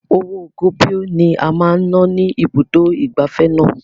Owó goboi ni a máa ná ní ibùdó ìgbafẹ́ náà.